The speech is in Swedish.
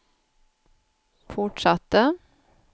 fortsatte